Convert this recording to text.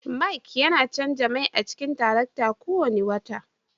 Mike yana canza mai a cikin tarakta kowane wata